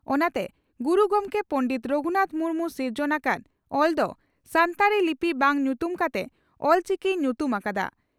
ᱚᱱᱟᱛᱮ ᱜᱩᱨᱩ ᱜᱚᱢᱠᱮ ᱯᱚᱸᱰᱮᱛ ᱨᱚᱜᱷᱩᱱᱟᱛᱷ ᱢᱩᱨᱢᱩ ᱥᱤᱨᱡᱚᱱ ᱟᱠᱟᱫ ᱚᱞ ᱫᱚ ᱥᱟᱱᱛᱟᱲᱤ ᱞᱤᱯᱤ ᱵᱟᱝ ᱧᱩᱛᱩᱢ ᱠᱟᱛᱮ ᱚᱞᱪᱤᱠᱤᱭ ᱧᱩᱛᱩᱢ ᱟᱠᱟᱫᱼᱟ ᱾